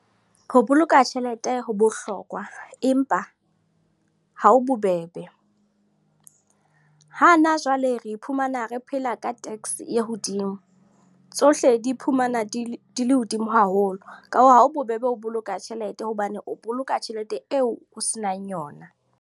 Ho boloka tjhelete, ho bohlokwa. Empa ha ho bobebe. Ha na jwale re iphumana re phela ka tax e hodimo. Tsohle di iphumana di le hodimo haholo. Ka hoo, ha ho bobebe ho boloka tjhelete, hobane o boloka tjhelete eo o se nang yona.